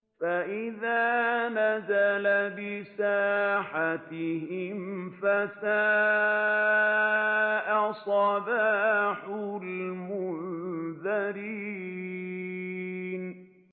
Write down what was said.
فَإِذَا نَزَلَ بِسَاحَتِهِمْ فَسَاءَ صَبَاحُ الْمُنذَرِينَ